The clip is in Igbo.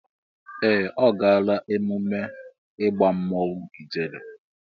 Ee! Ọ gaala ememme ịgba mmọnwụ ijele.